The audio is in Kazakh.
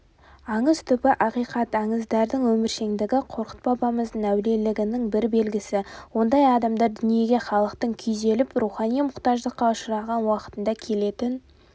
аңыз түбі ақиқат аңыздардың өміршеңдігі қорқыт бабамыздың әулиелігінің бір белгісі ондай адамдар дүниеге халықтың күйзеліп рухани мұқтаждыққа ұшыраған уақытында келетін